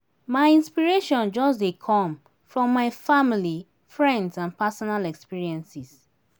my inspiration just dey come from my family friends and personal experiences.